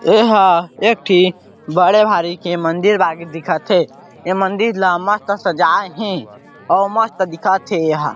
एहा एक ठी बड़े भारी के मंदिर बागिर दिखत हे ए मंदिर ला मस्त सजाये हे और मस्त दिखत हे एहा--